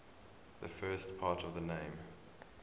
the first part of the name